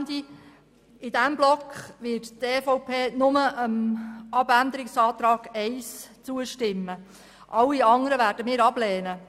In diesem Block wird die EVP nur der Planungserklärung 1 zustimmen, alle anderen Planungserklärungen werden wir ablehnen.